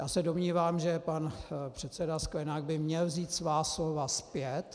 Já se domnívám, že pan předseda Sklenák by měl vzít svá slova zpět.